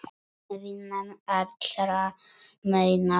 Vinnan allra meina bót.